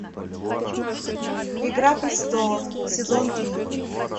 игра престолов сезон три